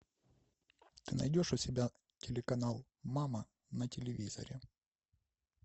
ты найдешь у себя телеканал мама на телевизоре